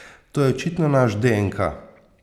To je očitno naš deenka.